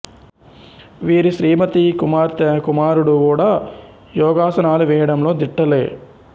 వీరి శ్రీమతి కుమార్తె కుమారుడు గూడా యోగాసనాలు వేయడంలో దిట్టలే